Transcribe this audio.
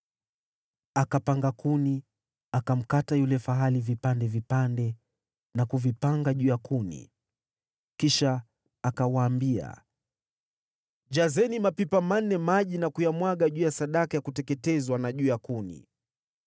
Akapanga kuni, akamkata yule fahali vipande vipande na kuvipanga juu ya kuni. Kisha akawaambia, “Jazeni mapipa manne maji na kuyamwaga juu ya sadaka ya kuteketezwa na juu ya kuni.”